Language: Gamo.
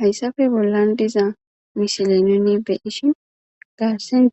Haysape bollan diza misile nu I beyoshin